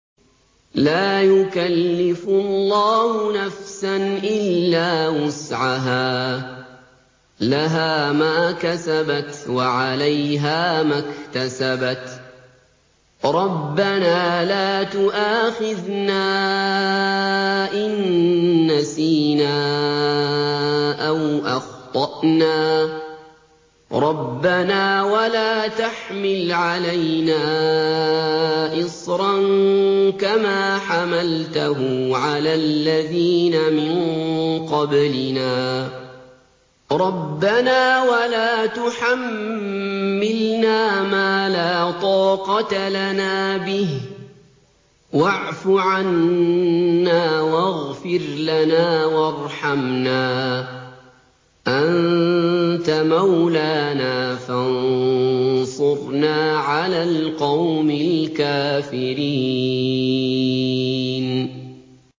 لَا يُكَلِّفُ اللَّهُ نَفْسًا إِلَّا وُسْعَهَا ۚ لَهَا مَا كَسَبَتْ وَعَلَيْهَا مَا اكْتَسَبَتْ ۗ رَبَّنَا لَا تُؤَاخِذْنَا إِن نَّسِينَا أَوْ أَخْطَأْنَا ۚ رَبَّنَا وَلَا تَحْمِلْ عَلَيْنَا إِصْرًا كَمَا حَمَلْتَهُ عَلَى الَّذِينَ مِن قَبْلِنَا ۚ رَبَّنَا وَلَا تُحَمِّلْنَا مَا لَا طَاقَةَ لَنَا بِهِ ۖ وَاعْفُ عَنَّا وَاغْفِرْ لَنَا وَارْحَمْنَا ۚ أَنتَ مَوْلَانَا فَانصُرْنَا عَلَى الْقَوْمِ الْكَافِرِينَ